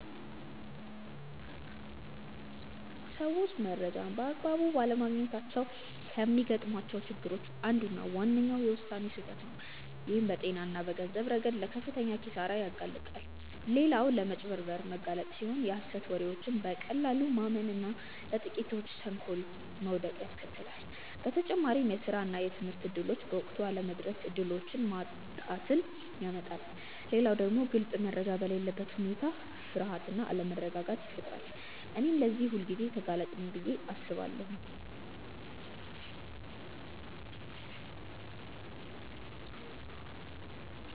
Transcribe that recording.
ሰዎች መረጃን በአግባቡ ባለማግኘታቸው ከሚገጥሟቸው ችግሮች አንዱና ዋነኛው የውሳኔ ስህተት ነው፣ ይህም በጤና እና በገንዘብ ረገድ ለከፍተኛ ኪሳራ ያጋልጣል። ሌላው ለማጭበርበር መጋለጥ ሲሆን የሀሰት ወሬዎችን በቀላሉ ማመን እና ለጥቂቶች ተንኮል መውደቅን ያስከትላል። በተጨማሪም የስራ እና የትምህርት እድሎች በወቅቱ አለመድረስ እድሎችን ማጣትን ያመጣል። ሌላው ደግሞ ግልጽ መረጃ በሌለበት ሁኔታ ፍርሃት እና አለመረጋጋት ይፈጠራል። እኔም ለዚህ ሁልጊዜ ተጋላጭ ነኝ ብዬ አስባለሁ።